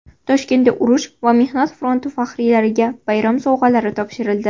Toshkentda urush va mehnat fronti faxriylariga bayram sovg‘alari topshirildi.